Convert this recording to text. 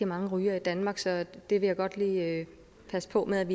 mange rygere i danmark så det vil jeg godt lige passe på med